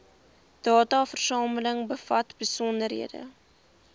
dataversameling bevat besonderhede